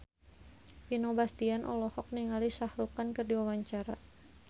Vino Bastian olohok ningali Shah Rukh Khan keur diwawancara